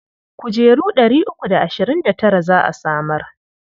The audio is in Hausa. Kujeru ɗari uku da ashirin da tara za a samar.